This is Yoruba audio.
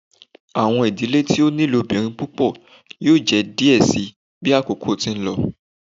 Awọn idile ti o ni ilobirin pupọ yoo jẹ diẹ sii bi akoko ti n lọ